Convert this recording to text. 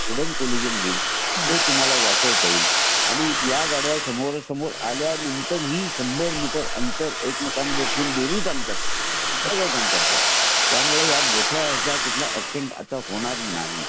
Hidden collision होईल टु तुम्हाला वाचवता येईल आणि ह्या गद्य समोरासमोर आल्या नंतर ही शंभर मीटर अंतर दोघांमध्ये ठेऊन थांबतात थांबतात त्या . त्या मुळे मोठ्या ह्या असा कुठला अॅक्सिडेंट होणार नाही